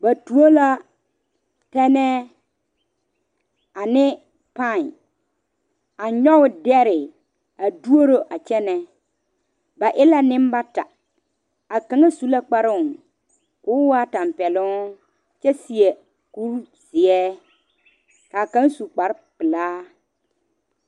Ba tuo tɛŋe ane paɛ a nyoŋ dare a doro a kyɛne ba e la nenbata a kaŋa su la kpare ko'o waa tanpɛloŋ kyɛ seɛ kuri ziɛ kaa kaŋa su kpare pelaa.